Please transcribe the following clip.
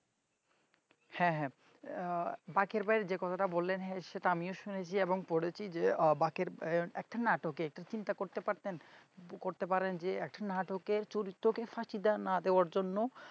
হ্যাঁ হ্যাঁ বাকের ভাইয়ের যে কথাটা বললেন সেটা আমিও শুনেছি এবং পড়েছি যে বাকের ভাইয়ের একটা নাটকের চিন্তা করতে পারতেন করতে পারেন যে নাটকের চরিত্রকে ফাঁকি দেওয়া না দেওয়ার জন্য